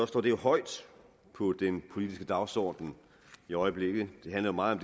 står det højt på den politiske dagsorden i øjeblikket det handler meget